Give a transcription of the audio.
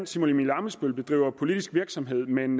simon emil ammitzbøll bedriver politisk virksomhed men